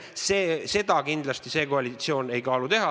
Seda praegune koalitsioon kindlasti teha ei kaalu.